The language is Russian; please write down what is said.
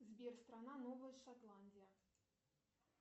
сбер страна новая шотландия